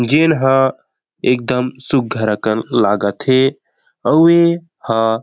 जेन ह एकदम सुंदर अकन लागाथे अऊ ए हा--